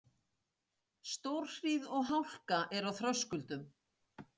Stórhríð og hálka er á Þröskuldum